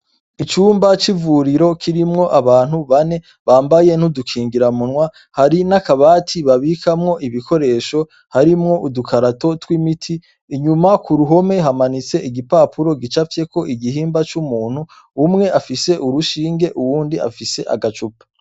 Icumba c'ivuriro kirimwo abantu bane bambaye ntudukingira munwa hari n'akabati babikamwo ibikoresho harimwo udukarato tw'imiti inyuma ku ruhome hamanitse igipapuro gicavyeko igihimba c'umuntu umwe afise urushinge uwundi afise agacupa.